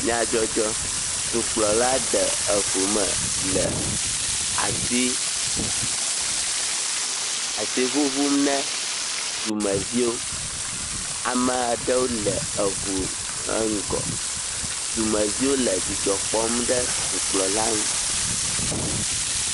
Nyadzɔdzɔ. Dɔkplɔla de eŋu me le asi asi ŋuŋum ne dumeviwo. Ame aɖewo le eɔu eŋgɔ. Dumeviwo le dzidzɔkpɔm ɖe dukpla nu.